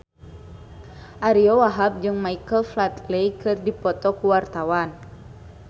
Ariyo Wahab jeung Michael Flatley keur dipoto ku wartawan